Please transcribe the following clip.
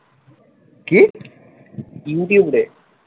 youtube রে